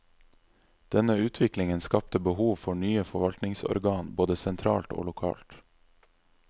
Denne utviklingen skapte behov for nye forvaltningsorgan både sentralt og lokalt.